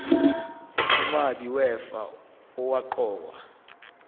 umabi wefa owaqokwa